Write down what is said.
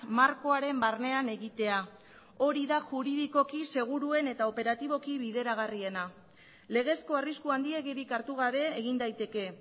markoaren barnean egitea hori da juridikoki seguruen eta operatiboki bideragarriena legezko arrisku handiegirik hartu gabe egin daiteke